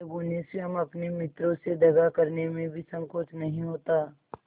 जब उन्हें स्वयं अपने मित्रों से दगा करने में भी संकोच नहीं होता